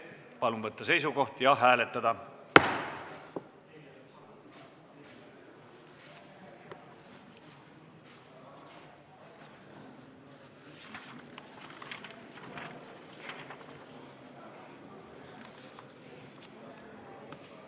Palun võtta seisukoht ja hääletada!